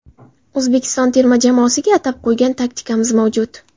O‘zbekiston terma jamoasiga atab qo‘ygan taktikamiz mavjud.